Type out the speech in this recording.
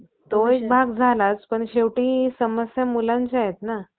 गुराढोरांचा वाढ करून, डवरे व पालेज~ पालेज यात्रांच्या निमित्ताने गोमांस खाणाऱ्या वर, गविष्ट डाबिंग